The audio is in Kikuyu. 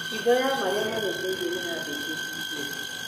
Hitho ya marĩa marĩ thĩiniĩ nĩyabĩtie kũhithũrio